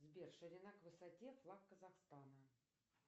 сбер ширина к высоте флаг казахстана